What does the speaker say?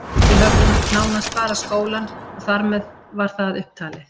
Við höfðum nánast bara skólann og þar með var það upp talið.